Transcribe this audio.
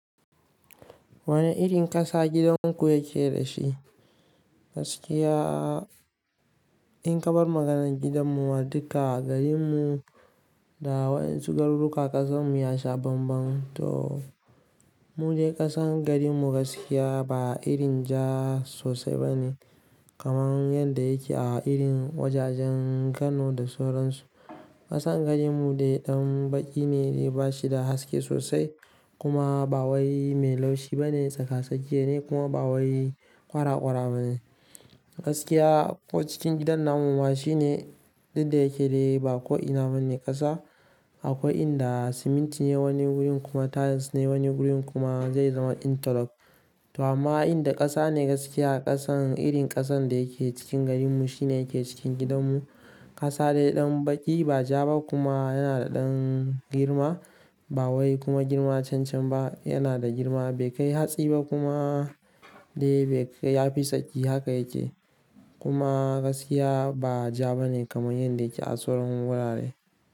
Wane irin ƙasa gidanku yake da shi? Gaskiya in ka bar maganan gidanmu wa duka garinmu da waɗansu garuruka ƙasanmu ya sha bambam. To mu de ƙasan garinmu gaskiya ba irin ja sosai bane kamar yadda yake a irin wajajen Kano da soran su. Ƙasan garinmu dai ɗan baƙi ne dai ba shi da haske sosai kuma ba wai mai laushi ba ne tsaka tsakiya ne kuma ba wai ƙwara ƙwara ba ne. Gaskiya ko cikin gidan namuma shine duk da yake dai ba ko ina bane ƙasa akwai inda siminti ne wani wurin kuma tiles ne wani wurin kuma zai zama interlock. To amma inda ƙasa ne gaskiya ƙasan irin ƙasan da yake cikin garinmu shine yake cikin gidanmu. Ƙasa dai ɗan baƙi ba ja ba kuma yana da ɗan girma ba wai kuma girma can can ba yana da girma bai kai hatsi ba kuma dai bai kai yafi tsaki haka yake. Kuma gaskiya ba ja bane kamar yadda yake a soran wurare.